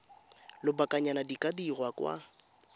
lobakanyana di ka dirwa kwa